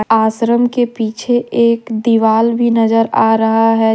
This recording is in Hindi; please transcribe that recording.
आश्रम के पीछे एक दीवाल भी नजर आ रहा है।